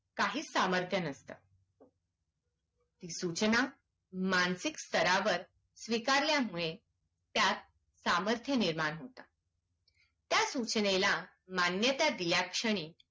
काहीच सामर्थ्य नसतं सूचना मानसिक स्तरावर स्वीकारल्यामुळे त्यात सामर्थ्य निर्माण होतात त्या सूचनेला मान्यता दिल्या क्षणी